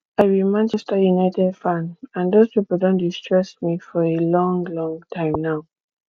i be manchester united fan and those people don dey stress me for a long long time now